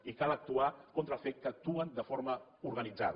i cal actuar contra el fet que actuen de forma organitzada